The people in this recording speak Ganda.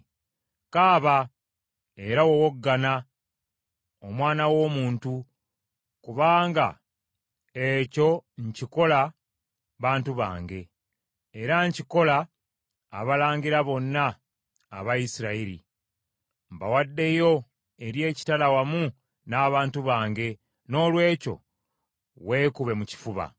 Kaaba era wowoggana, omwana w’omuntu, kubanga ekyo nkikola bantu bange, era nkikola abalangira bonna aba Isirayiri. Mbawaddeyo eri ekitala wamu n’abantu bange, noolwekyo weekube mu kifuba.